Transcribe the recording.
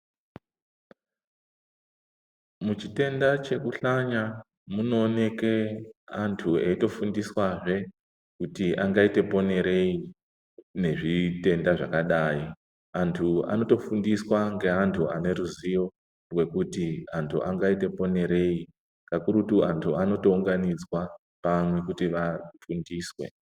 Muchitenda chekuhlanya munooneke antu eyitofundiswazve kuti angaite ponerei nezvitenda zvakadai. Antu anotofundiswa ngeantu ane ruzivo rwekuti antu angaite ponerei. Kakurutu antu anotounganidzwa pamwe kuti vafundiswe.